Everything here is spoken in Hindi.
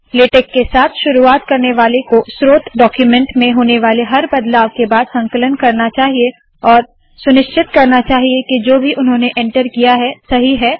लेटेक के साथ शुरुवात करने वाले को स्रोत डाक्यूमेन्ट में होने वाले हर बदलाव के बाद संकलन करना चाहिए और सुनिश्चित करना चाहिए के जो भी उन्होंने एन्टर किया है सही है